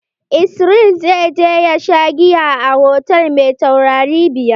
Israel zai je ya sha giya a hotal mai taurari biyar.